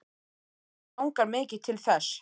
En mig langar mikið til þess.